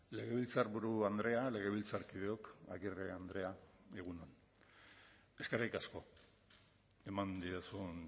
legebiltzarburu andrea legebiltzarkideok agirre andrea egun on eskerrik asko eman didazun